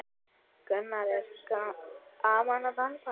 Gunnar: Er gaman að dansa?